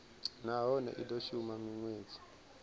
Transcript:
nahone i do shuma minwedzi